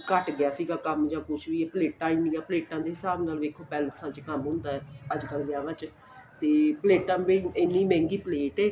ਘੱਟ ਗਿਆ ਸੀ ਕੰਮ ਜਾਂ ਕੁੱਝ ਵੀ ਪਲੇਟਾਂ ਇੰਨੀਆਂ ਪਲੇਟਾਂ ਦੇ ਹਿਸਾਬ ਵੇਖੋ palace ਵਿੱਚ ਕੰਮ ਹੁੰਦਾ ਏ ਅੱਜ ਕੱਲ ਵਿਆਹਾਂ ਵਿੱਚ ਤੇ ਪਲੇਟਾਂ ਦੇ ਇੰਨੀ ਮਹਿੰਗੀ ਪ੍ਲੇਟ ਏ